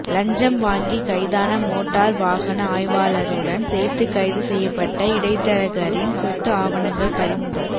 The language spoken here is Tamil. லஞ்சம் வாங்கி கைதான மோட்டார் வாகன ஆய்வாளருடன் சேர்த்து கைது செய்யப்பட்ட இடைத்தரகரின் சொத்து ஆவணங்கள் பறிமுதல்